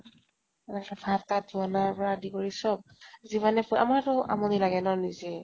মানে ভাত তাত বনোৱাৰ পৰা আদি কৰি চব যিমানে ফ আমাৰোতো আমনি লাগে ন নিজে